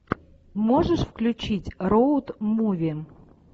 можешь включить роуд муви